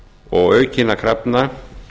og aukinna krafna